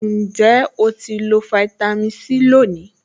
Ǹjẹ́ o ti lo fáítámì Sí lónìí?